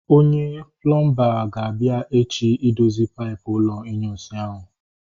Onye plọmba ga-abịa echi idozi paipụ ụlọ inyunsi ahu